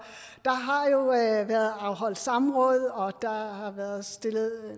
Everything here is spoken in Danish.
været afholdt samråd og der har været stillet